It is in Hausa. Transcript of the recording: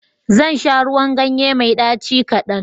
Zan sha ruwan ganye mai ɗaci kadan.